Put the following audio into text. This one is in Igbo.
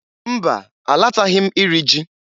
Mba! Alataghị m iri ji.